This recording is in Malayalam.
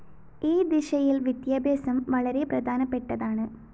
ഈ ദിശയില്‍ വിദ്യാഭ്യാസം വളരെ പ്രധാനപ്പെട്ടതാണ്